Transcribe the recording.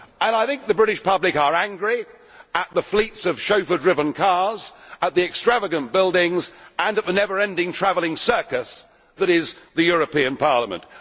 I think the British public are angry at the fleets of chauffeur driven cars, at the extravagant buildings and the never ending travelling circus that is the European Parliament.